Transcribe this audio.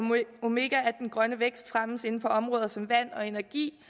omega at den grønne vækst fremmes inden for områder som vand og energi